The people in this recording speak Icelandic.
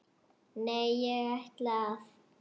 Nei, ég ætla að.